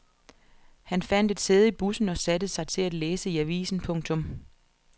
Han fandt et sæde i bussen og satte sig til at læse i avisen. punktum